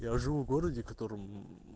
я живу в городе котором